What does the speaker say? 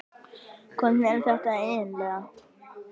Hvernig er þetta eiginlega?